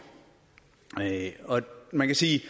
man kan sige